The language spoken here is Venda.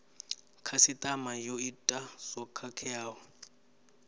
khasitama yo ita zwo khakheaho